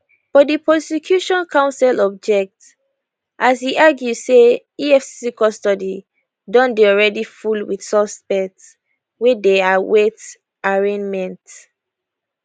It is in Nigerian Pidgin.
but di prosecution counsel object as e argue say efcc custody don already full wit suspects wey dey await arraignment